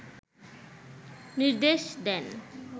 নির্দেশ দেন